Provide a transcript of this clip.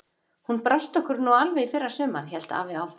Hún brást okkur nú alveg í fyrra sumar, hélt afi áfram.